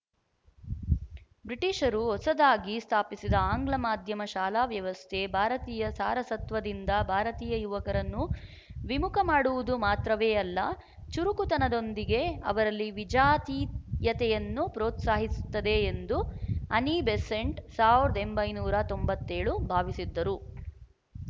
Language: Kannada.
ಬ್ರಿಟಿಶರು ಹೊಸದಾಗಿ ಸ್ಥಾಪಿಸಿದ ಆಂಗ್ಲ ಮಾಧ್ಯಮ ಶಾಲಾ ವ್ಯವಸ್ಥೆ ಭಾರತೀಯ ಸಾರಸತ್ವದಿಂದ ಭಾರತೀಯ ಯುವಕರನ್ನು ವಿಮುಖಮಾಡುವುದು ಮಾತ್ರವೇ ಅಲ್ಲ ಚುರುಕುತನದೊಂದಿಗೆ ಅವರಲ್ಲಿ ವಿಜಾತೀಯತೆಯನ್ನು ಪ್ರೋತ್ಸಾಹಿಸುತ್ತದೆ ಎಂದು ಅನೀಬಿಸೆಂಟ್ ಸಾವಿರದ ಒಂಬೈನೂರು ತೊಂಬತ್ತ್ ಏಳು ಭಾವಿಸಿದ್ದರು